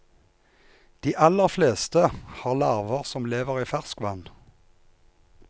De aller fleste har larver som lever i ferskvann.